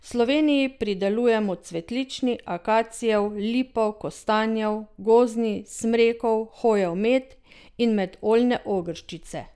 V Sloveniji pridelujemo cvetlični, akacijev, lipov, kostanjev, gozdni, smrekov, hojev med in med oljne ogrščice.